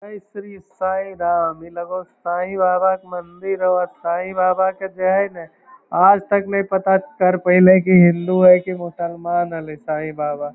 जय श्री साईं राम। ई लगे हो साईं बाबा के मंदिर हो साईं बाबा का जे हई ना आज तक नै पता कर पैलई की हिन्दू है की मुसलमान हलइ साईं बाबा।